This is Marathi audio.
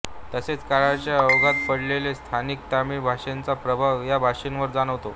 तसेच काळाच्या ओघात पडलेला स्थानिक तमिळ भाषेचा प्रभाव ह्या भाषेवर जाणवतो